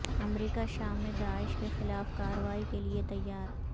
امریکہ شام میں داعش کے خلاف کاروائی کے لئے تیار